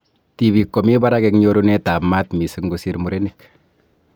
Tibik komi barak eng nyorunet ab mat missing kosir murenik.